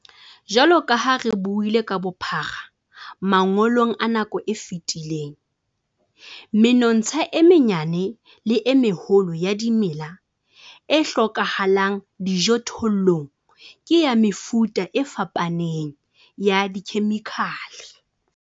Jwalo ka ha re buile ka bophara mangolong a nako e fetileng, menontsha e menyane le e meholo ya dimela e hlokahalang dijothollong ke ya mefuta e fapaneng ya dikhemikhale.